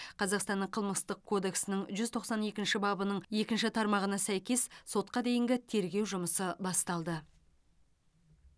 қазақстанның қылмыстық кодексінің жүз тоқсан екінші бабының екінші тармағына сәйкес сотқа дейінгі тергеу жұмысы басталды